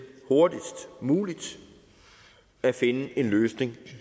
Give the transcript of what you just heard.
hurtigst muligt at finde en løsning